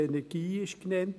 Energie wurde genannt.